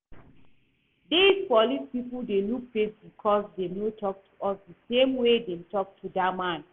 Dis police people dey look face because dem no talk to us the same way dem talk to dat man